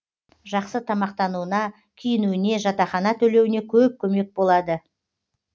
жақсы тамақтануына киінуіне жатақхана төлеуіне көп көмек болады